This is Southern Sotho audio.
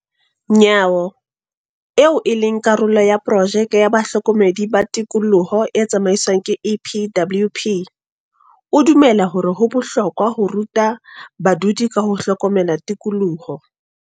Nyawo, eo e leng karolo ya porojeke ya bahlokomedi ba tikoloho e tsamaiswang ke EPWP, o dumela hore ho bohlokwa ho ruta badudi ka ho hlokomela tikoloho.